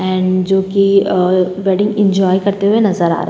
And जोकि a wedding enjoy करते हुए नजर आ रहे हैं।